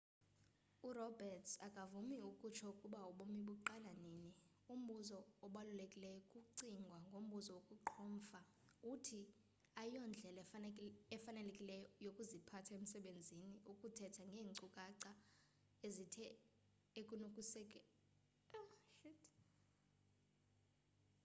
uroberts akavumi ukutsho ukuba ubomi buqala nini umbuzo obalulekileyo xa kucingwa ngombuzo wokuqhomfa uthi ayiyondlela efanelekileyo yokuziphatha emsebenzini ukuthetha ngeenkcukacha ezinto ekusenokwenzeka zenzekile